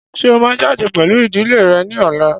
Ṣé ó máa jáde pẹ̀lú ìdílé rẹ̀ ní ọ̀la?